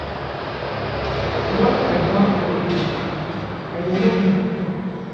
Once I baff for evening, I dey rob my cream.